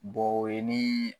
Bɔ o ye nii